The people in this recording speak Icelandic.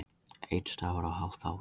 Einn stafur og hálft ár